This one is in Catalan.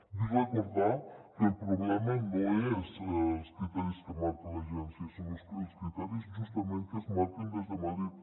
vull recordar que el problema no és els criteris que marca l’agència són els criteris justament que es marquen des de madrid